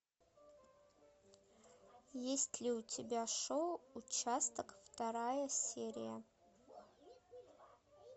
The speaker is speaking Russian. есть ли у тебя шоу участок вторая серия